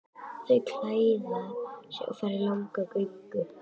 Þau klæða sig og fara í langa göngu.